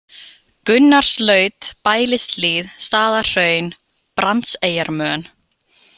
Gunnarslaut, Bælishlíð, Staðarhraun, Brandseyjarmön